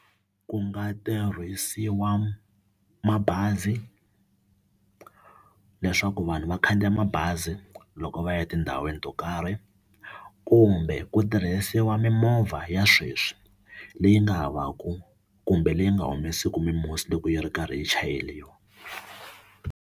Ku nga tirhisiwa mabazi leswaku vanhu va khandziya mabazi loko va ya etindhawini to karhi kumbe ku tirhisiwa mimovha ya sweswi leyi nga havaku kumbe leyi nga humeseki mimusi loko yi ri karhi yi chayeriwa.